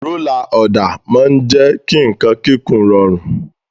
Rólà ọ̀dà máa ń jẹ́ kí nǹkan kíkùn rọrùn.